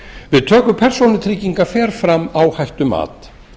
við töku persónutrygginga fer fram áhættumat